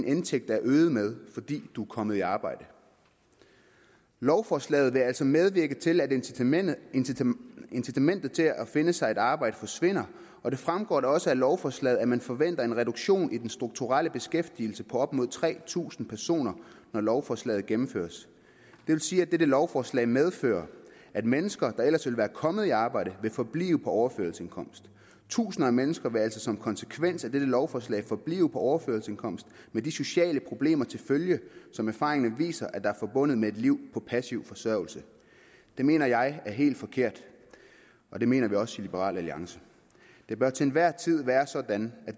indtægten er øget med fordi man er kommet i arbejde lovforslaget vil altså medvirke til at incitamentet incitamentet til at finde sig et arbejde forsvinder og det fremgår også af lovforslaget at man forventer en reduktion i den strukturelle beskæftigelse på op mod tre tusind personer når lovforslaget gennemføres det vil sige at dette lovforslag medfører at mennesker der ellers ville være kommet i arbejde vil forblive på overførselsindkomst tusinder af mennesker vil altså som konsekvens af dette lovforslag forblive på overførselsindkomst med de sociale problemer til følge som erfaringerne viser er forbundet med et liv på passiv forsørgelse det mener jeg er helt forkert og det mener vi også i liberal alliance det bør til enhver tid være sådan at